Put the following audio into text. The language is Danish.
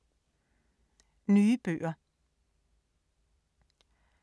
Nye bøger